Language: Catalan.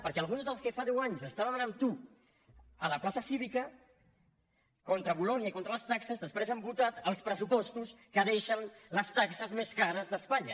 perquè alguns dels que fa deu anys estaven amb tu a la plaça cívica contra bolonya i contra les taxes després han votat els pressupostos que deixen les taxes més cares d’espanya